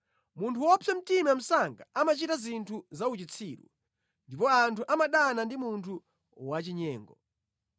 Munthu wopsa mtima msanga amachita zinthu za uchitsiru, ndipo anthu amadana ndi munthu wachinyengo.